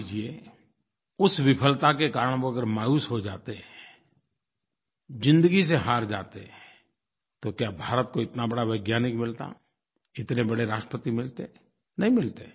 मान लीजिए उस विफलता के कारण अगर वो मायूस हो जाते ज़िंदगी से हार जाते तो क्या भारत को इतना बड़ा वैज्ञानिक मिलता इतने बड़े राष्ट्रपति मिलते नहीं मिलते